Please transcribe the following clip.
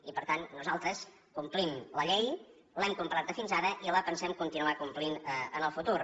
i per tant nosaltres complim la llei l’hem complerta fins ara i la pensem continuar complint en el futur